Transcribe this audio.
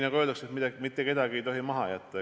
Nagu öeldakse, mitte kedagi ei tohi maha jätta.